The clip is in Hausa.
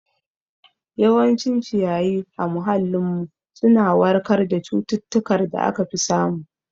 Yawancin ci yayi a muhallin mu suna warkar da cututtukar da aka fi samu